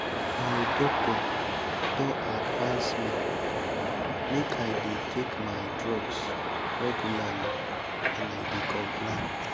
my doctor don advice me make i dey take my drugs regularly and i dey comply